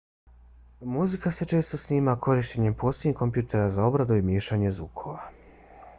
muzika se često snima korištenjem posebnih kompjutera za obradu i miješanje zvukova